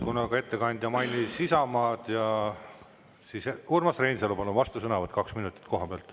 Kuna ettekandja mainis Isamaad, siis Urmas Reinsalu, vastusõnavõtt kaks minutit koha pealt.